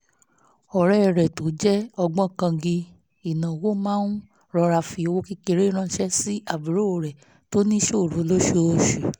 ọ̀rẹ́ rẹ̀ tó jẹ́ ògbóǹkangí ìnáwó máa ń rọra fi owó kékeré ránṣẹ́ sí àbúrò rẹ̀ tó níṣòro lóṣooṣù